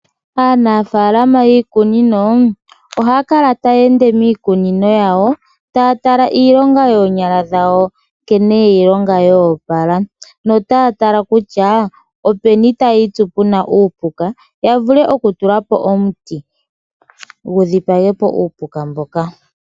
Aanafalama yiikunino ohakala tayende miikunino yawo tatala iilonga yonyala dhawo nkene yeyilonga yopala notatala kutya openi tayitsu puna uupuka yavule oku tulapo omuti gudhipahepo uupuka mboka.